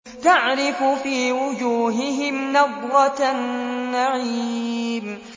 تَعْرِفُ فِي وُجُوهِهِمْ نَضْرَةَ النَّعِيمِ